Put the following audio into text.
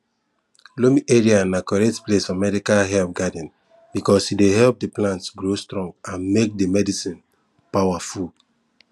loamy area na correct place for medicinal herb garden because e dey help the plant grow strong and make the medicine power full